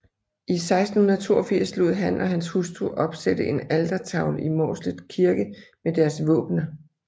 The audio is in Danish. I 1682 lod han og hans hustru opsætte en altertavle i Mårslet Kirke med deres våbener